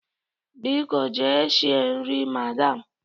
Biko jee shie nri, madam!